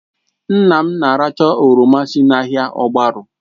Nna m na-aracha oroma si n'ahịa ogbaru